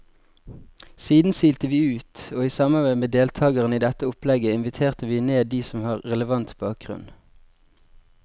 Siden silte vi ut, og i samarbeid med deltagerne i dette opplegget inviterte vi ned de som har relevant bakgrunn.